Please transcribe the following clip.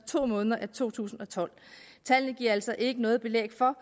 måneder af to tusind og tolv tallene giver altså ikke noget belæg for